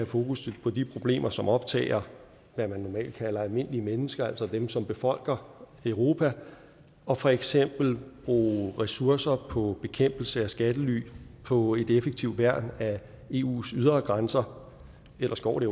fokus på de problemer som optager hvad man normalt kalder almindelige mennesker altså dem som befolker europa og for eksempel bruge ressourcer på bekæmpelse af skattely på et effektivt værn af eus ydre grænser ellers går det